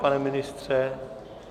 Pane ministře?